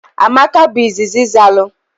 Amaka bu izizi zalu.